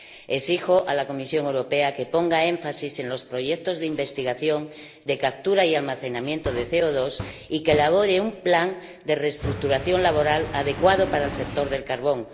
Exijo a la Comisión Europea que ponga énfasis en los proyectos de investigación de captura y almacenamiento de CO2 y que elabore un plan de reestructuración laboral adecuado para el sector del carbón.